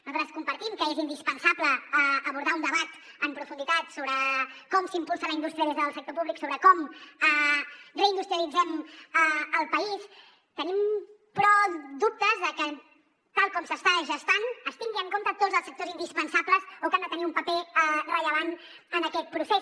nosaltres compartim que és indispensable abordar un debat en profunditat sobre com s’impulsa la indústria des del sector públic sobre com reindustrialitzem el país tenim però dubtes de que tal com s’està gestant es tingui en compte tots els sectors indispensables o que han de tenir un paper rellevant en aquest procés